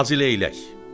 Hacıleylək.